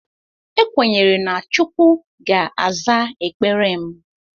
Ekwenyere na Chukwu ga-aza ekpere m.